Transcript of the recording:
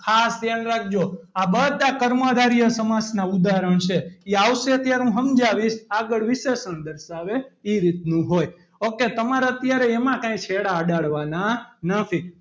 ખાસ ધ્યાન રાખજો આ બધાએ કર્મધાર્ય સમાસના ઉદાહરણ છે એ આવશે ત્યારે હું સમજાવીશ આગળ વિશેષણ દર્શાવે એ રીતનો હોય ok તમારે અત્યારે એમાં કઈ છેડા અડાડવાના નથી.